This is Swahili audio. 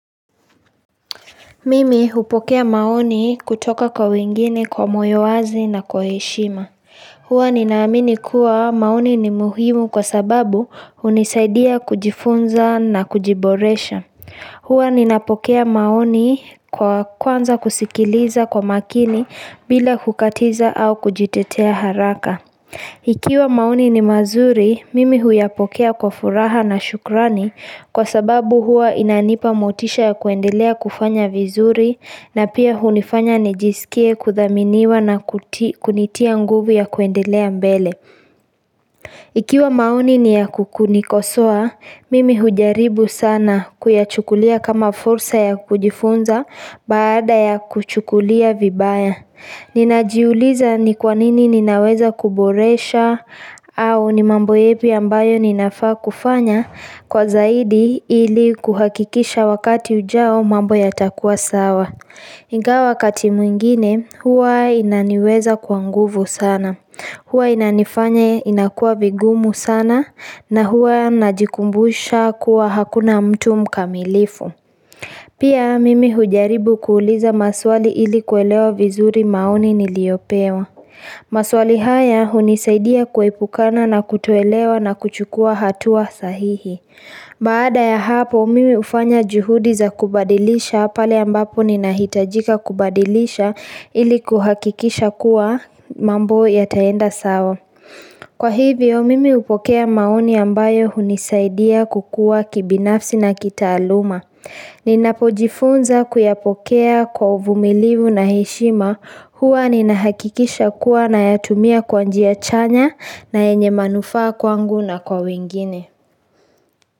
Mimi hupokea maoni kutoka kwa wengine kwa moyo wazi na kwa heshima. Huwa ninaamini kuwa maoni ni muhimu kwa sababu hunisaidia kujifunza na kujiboresha. Huwa ninapokea maoni kwa kwanza kusikiliza kwa makini bila kukatiza au kujitetea haraka. Ikiwa mani ni mazuri, mimi huyapokea kwa furaha na shukrani kwa sababu huwa inanipa motisha ya kuendelea kufanya vizuri na pia hunifanya nijisikie kuthaminiwa na kutia kunitia nguvu ya kuendelea mbele. Ikiwa maoni ni ya ku kunikosoa, mimi hujaribu sana kuyachukulia kama fursa ya kujifunza baada ya kuchukulia vibaya. Ninajiuliza ni kwanini ninaweza kuboresha au ni mambo yepi ambayo ninafaa kufanya kwa zaidi ili kuhakikisha wakati ujao mambo yatakuwa sawa. Ingawa wakati mwingine huwa inaniweza kwa nguvu sana. Huwa inanifanya inakuwa vigumu sana na huwa najikumbusha kuwa hakuna mtu mkamilifu. Pia mimi hujaribu kuuliza maswali ili kuelewa vizuri maoni niliyopewa. Maswali haya hunisaidia kuepukana na kutoelewa na kuchukua hatua sahihi. Baada ya hapo mimi hufanya juhudi za kubadilisha pale ambapo ninahitajika kubadilisha ili kuhakikisha kuwa mambo yataenda sawa. Kwa hivyo mimi hupokea maoni ambayo hunisaidia kukua kibinafsi na kitaaluma. Ninapojifunza kuyapokea kwa uvumilivu na heshima huwa ninahakikisha kuwa nayatumia kwa njia chanya na yenye manufaa kwangu na kwa wengine.